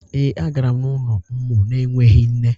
Ee, a gara m n’ụlọ ụmụ na-enweghị nne.